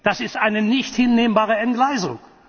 Das ist eine nicht hinnehmbare Entgleisung!